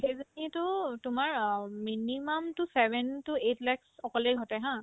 সেইজনীতো তোমাৰ অ minimum তো seven to eight lakh অকলে ঘটে haa